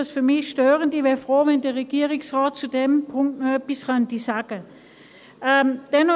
Ich wäre froh, wenn der Regierungsrat zu diesem Punkt noch etwas sagen könnte.